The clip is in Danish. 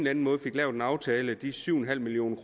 anden måde fik lavet en aftale om de syv million